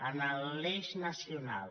en l’eix nacional